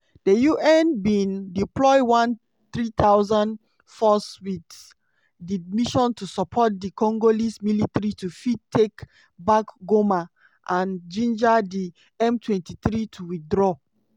di unbin deploy one 3000 force wit di mission to support di congolese military to fit take back goma and ginger di m23 to withdraw.